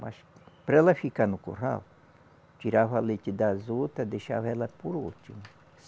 Mas para ela ficar no curral, tirava leite das outras, deixava ela por último.